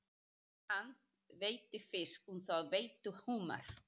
Hann veiddi fisk en þau veiddu humar.